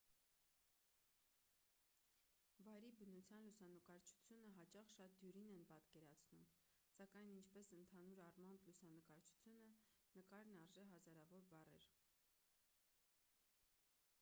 վայրի բնության լուսանկարչությունը հաճախ շատ դյուրին են պատկերացնում սակայն ինչպես ընդհանուր առմամբ լուսանկարչությունը նկարն արժե հազարավոր բառեր